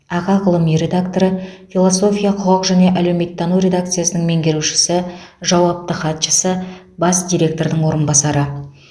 аға ғылыми редакторы философия құқық және әлеуметтану редакциясының меңгерушісі жауапты хатшысы бас директордың орынбасары